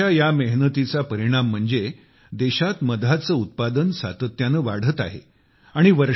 शेतकऱ्यांच्या या मेहनतीचा परिणाम आहे की देशात मधाचे उत्पादन सातत्याने वाढत आहे